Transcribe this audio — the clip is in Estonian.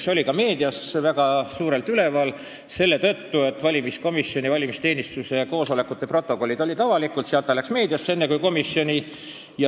See oli ka meedias väga suurelt üleval, sest valimiskomisjoni ja valimisteenistuse koosolekute protokollid olid avalikud ning sedakaudu jõudis see info enne meediasse kui põhiseaduskomisjoni.